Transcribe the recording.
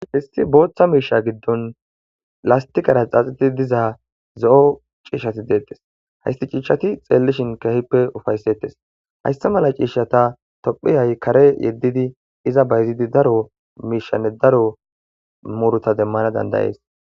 histi booththa miisha giddon lastiqara xaaxitidi diza zo7o ciishshati deettes haysti ciishshati xeellishin kehippe ufaysettes hayssa mala ciishata tophiyay kare yeddidi iza bayzidi daro miishanne daro muruta demmana dandayees